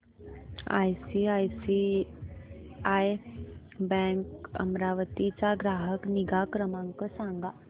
ICICI bank Amravati चा ग्राहक निगा क्रमांक सांगा